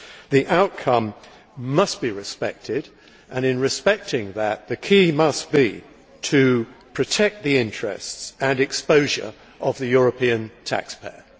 The outcome must be respected and, in respecting that, the key must be to protect the interests and exposure of the European taxpayer.